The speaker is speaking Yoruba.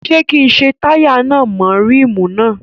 Ṣé kí n ṣe táyà náà mọ́ ríìmù náà?